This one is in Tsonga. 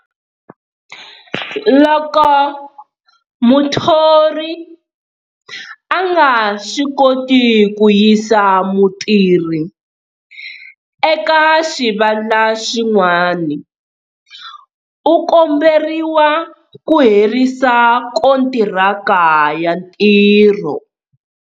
Loko muthori a nga swi koti ku yisa mutirhi eka xivandla xin'wani, u komberiwa ku herisa kontiraka ya ntirho.